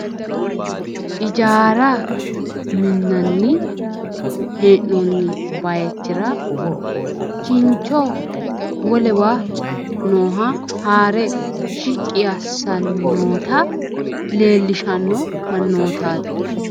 Ijaara minnanni hee'noonni bayichira kincho wolewa nooha haare shiqqi assanni noota leellishanno mannootaati